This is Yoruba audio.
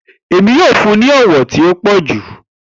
Emi yoo fun u ni ọwọ ti o pọju.